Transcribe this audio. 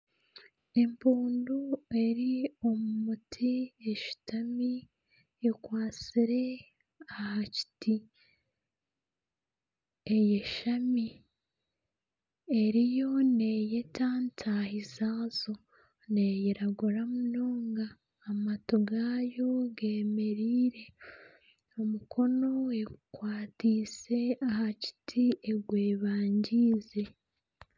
Empundu eri omu muti eshutami ekwatsire aha kiti, eyashami, eriyo neeyeta ntaahi zaayo. Neyiragura munonga, amatu gaayo g'emereire, omukono egukwatiise aha kiti egwebangiize.